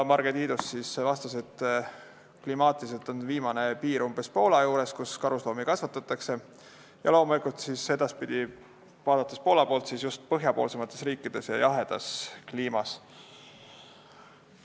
Marge Tiidus vastas, et klimaatiliselt on karusloomade kasvatamise piir umbes Poolas ja Poola poolt vaadates kasvatatakse neid just põhjapoolsemates riikides ja jahedas kliimas.